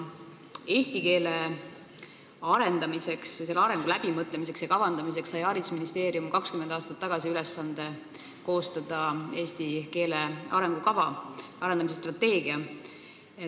Eesti keele arendamiseks, selle arengu kavandamiseks sai haridusministeerium 20 aastat tagasi ülesande koostada eesti keele arendamise strateegia.